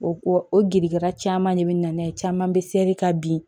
O ko o girika caman de bɛ na n'a ye caman bɛ seli ka bin